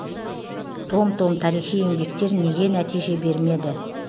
том том тарихи еңбектер неге нәтиже бермеді